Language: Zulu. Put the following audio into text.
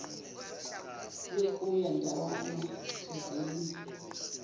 yokuya ndawana thizeni